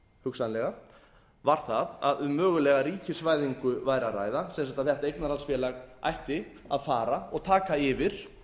hugsanlega var það að um mögulega ríkisvæðingu væri að ræða til þess að þetta eignarhaldsfélag ætti að fara og taka yfir